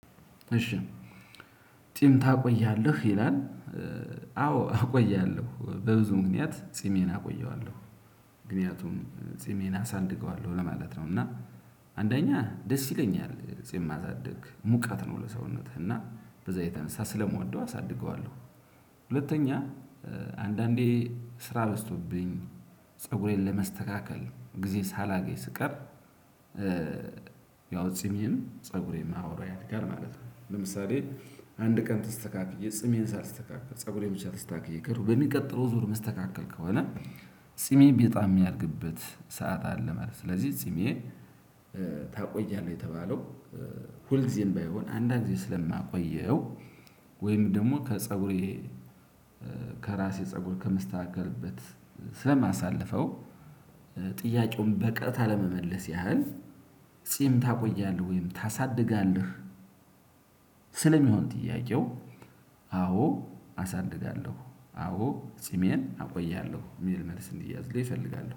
እሺ ጺም ታቆያለህ ይላል? አዎ አቆያለሁ በብዙ ምክንያት ጺሜን አቆየዋለሁ ምክንያቱም ጺሜን አሳንድገዋለሁ ለማለት ነው። እና አንደኛ ደስ ይለኛል ጼማ ማሳድግ ሙቀት ነው ለሰውነትህ እና በዛ የተነሳ ስለምወደው አሳድገዋለሁ። ሁለተኛ አንዳንዴ ስራ በዝቶብኝ ፀጉሬን ለመስተካከል ጊዜ ሳላገኝ ስቀር። ያው ጺሚን ፀጉሬም አብሮ ያድጋል ማለት ነው። ለምሳሌ አንድ ቀን ተስተካክዬ ጽሜን ሳልስተካከል ፀጉሬን ብቻ ተስተካክዬ ከሄድኩ በሚቀጥለው ዙር የምስተካከል ከሆነ ጺሜ በጣም የሚያድግበት ሰዓት አለ ማለት ነው። ስለዚህ ጺሜ ታቆያለህ የተባለው ሁል ጊዜም ባይሆን አንዳንዴ ስለማቆየው። ወይም ደግሞ ከፀጉሬ ከራሴ ፀጉር ከመስተካከልበት ስለማሳልፈው። ጥያቄውን በቀጥታ ለመመለስ ያህል ጺም ታቆያለህ ወይም ታሳድጋለህ? ስለሚሆን ጥያቄው አዎ አሳድጋለሁ አዎ ጺሜን አቆያለሁ የሚል መልስ እንዲያዝልኝ እፈልጋለሁ